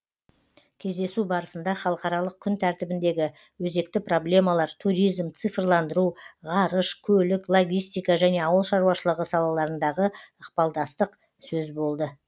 кездесу барысында халықаралық күн тәртібіндегі өзекті проблемалар туризм цифрландыру ғарыш көлік логистика және ауыл шаруашылығы салаларындағы ықпалдастық сөз болды